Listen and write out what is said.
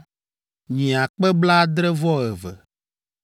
nyi akpe blaadre-vɔ-eve (72,000),